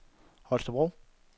Holstebro